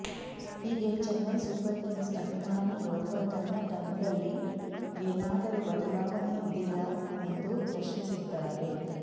ಹೀಗೆ Chennai Super Kings ಅಭಿಮಾನಿಯೊರ್ವ ತನ್ನ ತಂದಲ್ಲಿ ಏನಾದರೂ ಬದಲಾವಣೆ ಇದೆಯಾ ಎಂದು ಪ್ರಶ್ನಿಸಿದ್ದಾರೆ